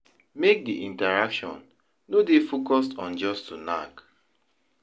Make di intraction no dey focus on just to knack